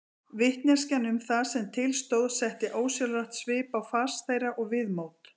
Vitneskjan um það sem til stóð setti ósjálfrátt svip á fas þeirra og viðmót.